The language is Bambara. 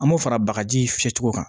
An m'o fara bagaji fiyɛ cogo kan